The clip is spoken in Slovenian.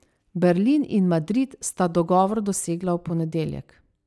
Berlin in Madrid sta dogovor dosegla v ponedeljek.